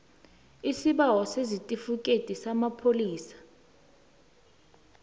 isibawo sesitifikhethi samapholisa